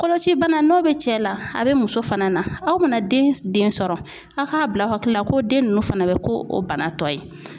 Koloci bana n'o bɛ cɛ la, a be muso fana na, aw mana den den sɔrɔ a'k'a bila aw hakili la ko den nunnu fana bɛ ko o bana tɔ ye.